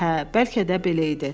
Hə, bəlkə də belə idi.